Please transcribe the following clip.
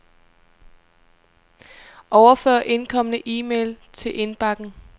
Overfør indkomne e-mail til indbakken.